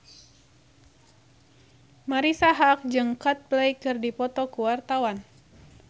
Marisa Haque jeung Coldplay keur dipoto ku wartawan